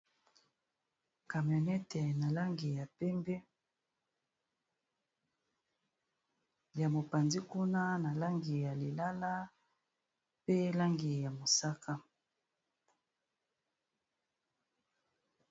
Camionete na langi ya pembe, ya mopanzi kuna na langi ya lilala, pe langi ya mosaka.